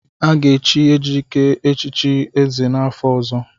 Aga echi Ejike echichi ézè n'afọ ọzọ.